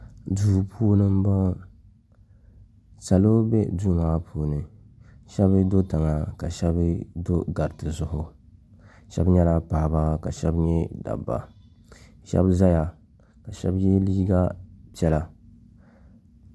Duu puuni n bɔŋɔ salo bɛ duu maa puuni shɛba do tiŋa ka shɛba do gariti zuɣu shɛba nyɛla paɣaba ka shɛba nyɛ dabba shɛba zaya ka shɛba ye liiga piɛlla.